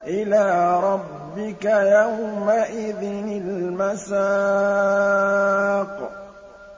إِلَىٰ رَبِّكَ يَوْمَئِذٍ الْمَسَاقُ